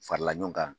Farala ɲɔgɔn kan